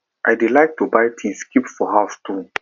i dey like to buy things keep for house too